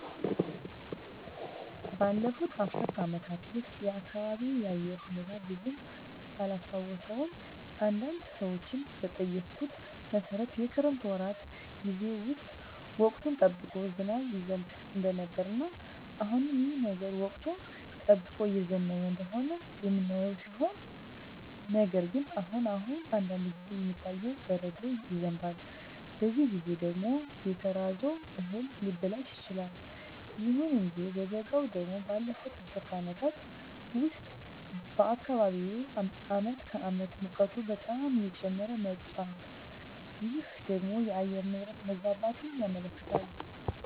ባለፉት አስር አመታት ውስጥ የአካባቢየ የአየር ሁኔታ ብዙም ባላስታውሰውም አንዳንድ ሰዎችን በጠየኩት መሠረት የክረምት ወራት ጌዜ ውስጥ ወቅቱን ጠብቆ ዝናብ ይዘንብ እንደነበረ እና አሁንም ይህ ነገር ወቅቱን ጠብቆ እየዘነበ እንደሆነ የምናየው ሲሆን ነገር ግን አሁን አሁን አንዳንድ ጊዜ የሚታየው በረዶ ይዘንባል በዚህ ጊዜ ደግሞ የተዘራው እህል ሊበላሽ ይችላል። ይሁን እንጂ በበጋው ደግሞ ባለፋት አስር አመታት ውስጥ በአካባቢየ አመት ከአመት ሙቀቱ በጣም እየጨመረ መጧል ይህ ደግሞ የአየር ንብረት መዛባትን ያመለክታል